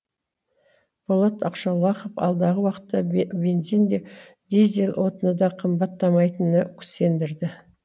болат ақшолақов алдағы уақытта бе бензин де дизель отыны да қымбаттамайтынына сендірді